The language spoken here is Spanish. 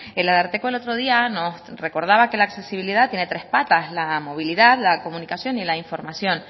el ararteko el otro día nos recordaba que la accesibilidad tiene tres patas la movilidad la comunicación y la información